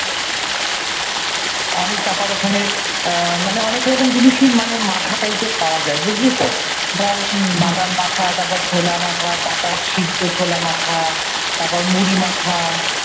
অনেক তারপর ওখানে মানে অনেক জিনিসই মাখা টাইপের পাওয়া যায় বুঝলি তো ধর বাদাম মাখা, ছোলা মাখা, তারপর কাঁচা সেদ্ধ ছোলা, মাখা তারপর মুড়ি মাখা।